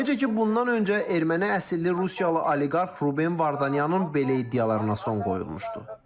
Necə ki, bundan öncə erməni əsilli Rusiyalı oliqarx Ruben Vardanyanın belə iddialarına son qoyulmuşdu.